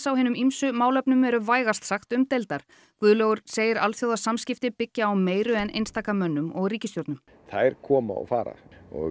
á hinum ýmsu málefnum eru vægast sagt umdeildar Guðlaugur segir alþjóðasamskipti byggja á meiru en einstaka mönnum og ríkisstjórnum þær koma og fara